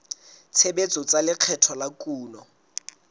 tshebetso tsa lekgetho la kuno